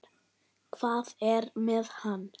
Hvað er með hann?